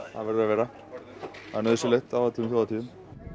það verður að vera það er nauðsynlegt á öllum þjóðhátíðum